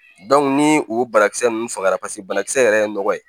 ni o banakisɛ ninnu fagara paseke banakisɛ yɛrɛ ye nɔgɔ ye